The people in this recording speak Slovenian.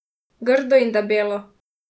Grdo in debelo.